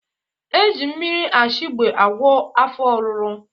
Eji mmiri ashegbe agwọ afọ oruru